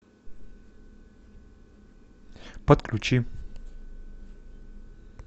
подключи